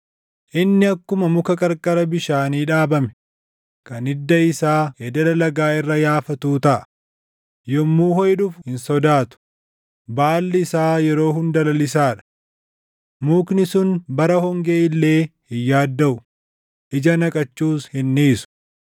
Inni akkuma muka qarqara bishaanii dhaabame, kan hidda isaa ededa lagaa irra yaafatuu taʼa. Yommuu hoʼi dhufu hin sodaatu; baalli isaa yeroo hunda lalisaa dha. Mukni sun bara hongee illee hin yaaddaʼu; ija naqachuus hin dhiisu.”